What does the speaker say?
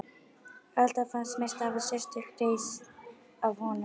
Alltaf fannst mér stafa sérstök reisn af honum.